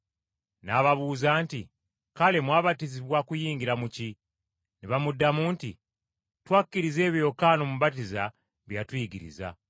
N’ababuuza nti, “Kale mwabatizibwa kuyingira mu ki?” Ne bamuddamu nti, “Twakkiriza ebyo Yokaana Omubatiza bye yatuyigiriza.”